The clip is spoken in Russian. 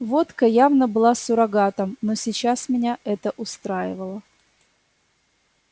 водка явно была суррогатом но сейчас меня это устраивало